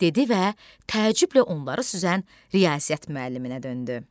dedi və təəccüblə onları süzən riyaziyyat müəlliminə döndü.